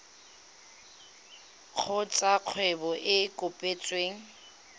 kgotsa kgwebo e e kopetsweng